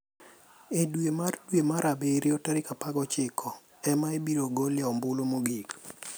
E dwe mar dwe mar abirio tarik 19 ema ibiro golie ombulu mogik.